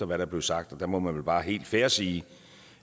hvad der blev sagt der må man vel bare helt fair sige